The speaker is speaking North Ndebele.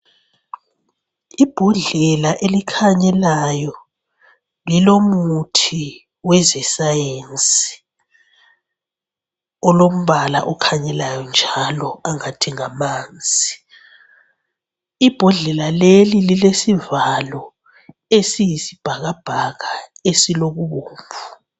Ibhodlela elikhanyelayo lilomuthi wezesayenzi, olombala okhanyelayo njalo angathi ngamanzi, ibhodlela leli lilesivalo esiyisibhakabhaka esilokubomvu.